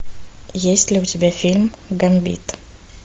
есть ли у тебя фильм гамбит